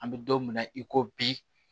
An bɛ don min na i ko bi